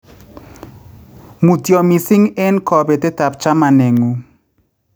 Mutyo mising en kopetet ap chamaneng'ung'